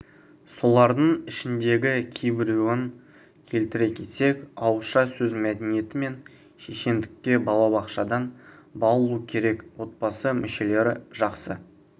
солардың ішіндегі кейбіреуін келтіре кетсек ауызша сөз мәдениеті мен шешендікке балабақшадан баулу керек отбасы мүшелері жақсы